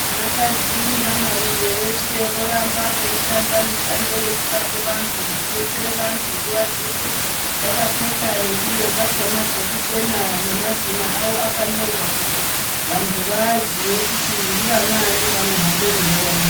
Vanakadzi nevanarume veshe, vorambe veishanda mishando yokurape vantu nokubetsera vantu nguva dzeshe, vakapfeka nengubo dzakhona dzekuchena nemazina avo akanyorwa, kuti vantu vavazive kuti ndivanani vanohamba muntaraunda.